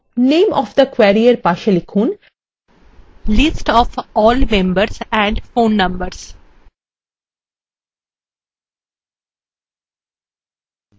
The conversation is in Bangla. এরজন্য name of the query এর পাশে লিখুন list of all members and phone numbers